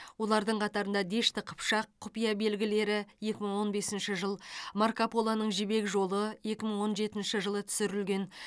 олардың қатарында дешті қыпшақ құпия белгілері екі мың он бесінші жыл марко полоның жібек жолы екі мың он жетінші жылы түсірілген